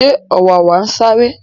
ṣé ọ̀wàwà ń sáré?